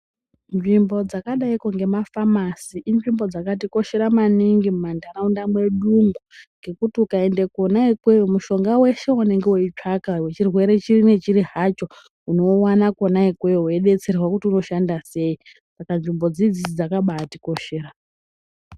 Nzvimbo dzakadaiko ngomafamasi inzvimbo dzakatikoshera maningi mumantaraunda mwedumo, ngokuti ukaenda kona ikweyo, mushonga weshe wenonga wechitsvanga, wechirwere chiinyi chirihacho chirwere chiri hacho unowana kona ikweyo weidetserwa kuti unoshanda sei, saka nzvimbo dzidzi dzakabaatikoshera.